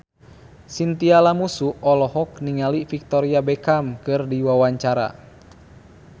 Chintya Lamusu olohok ningali Victoria Beckham keur diwawancara